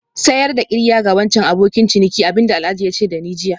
Sayar da qirya ga wancan abokin ciniki abin da Alhaji ya ce da ni jiya